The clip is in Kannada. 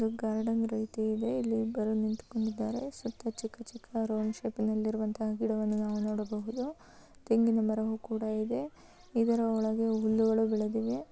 ಸುತ್ತಲೂ ಚಿಕ್ಕ ಚಿಕ್ಕ ಗಿಡವನ್ನು ನಾವು ನೋಡಬಹುದು. ತೆಂಗಿನ ಮರವೂ ಕೂಡ ಇದೆ. ಇದರ ಒಂದು